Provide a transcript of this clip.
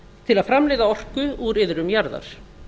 til að framleiða orku úr iðrum jarðar